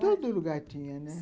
Todo lugar tinha, né?